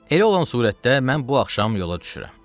Elə olan surətdə mən bu axşam yola düşürəm.